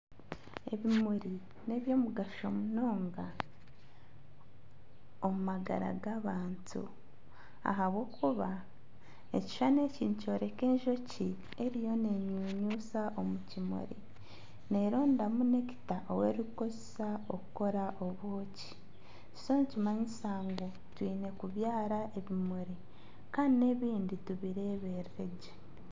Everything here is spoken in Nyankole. Ebimuri n'eby'omugasho munonga omu magara g'abantu. Ahabw'okuba ekishushani eki nikyoreka enjoki eriyo nenyunyusa omu kimuri nerondamu nekita ou erikukoresa kukora obwoki. Nikimanyisa ngu twiine kubyara ebimuri kandi n'ebindi tubireeberere gye.